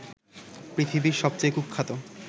পৃথিবীর সবচেয়ে কুখ্যাত